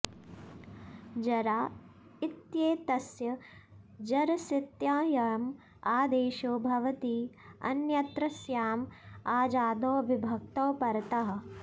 जरा इत्येतस्य जरसित्ययम् आदेशो भवति अन्यत्रस्याम् अजादौ विभक्तौ परतः